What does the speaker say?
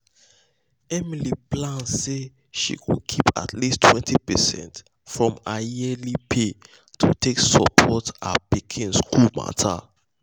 emily plan um say she go um keep at least 20 percent um from her yearly pay to take support her pikin school matter.